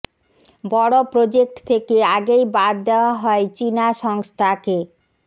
বড় প্রোজেক্ট থেকে আগেই বাদ দেওয়া হয় চিনা সংস্থাকে